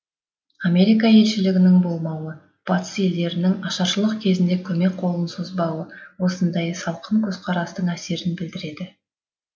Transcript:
америка елшілігінің болмауы батыс елдерінің ашаршылық кезінде көмек қолын созбауы осындай салқын көзқарастың әсерін білдіреді